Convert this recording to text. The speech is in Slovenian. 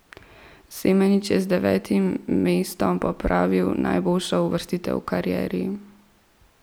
Semenič je z devetim mestom popravil najboljšo uvrstitev v karieri.